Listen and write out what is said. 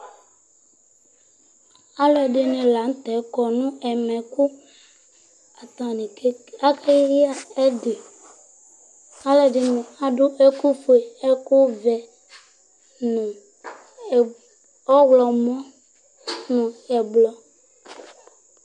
Alʋɛdìní la ntɛ kɔ nʋ ɛmɛ kʋ atani aka du ɛdí Alʋɛdìní adu ɛku fʋe, ɛku vɛ nʋ ɔwlɔmɔ nʋ ɛblɔ